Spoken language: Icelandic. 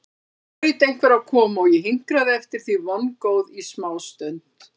Nú hlaut einhver að koma og ég hinkraði eftir því vongóð í smástund.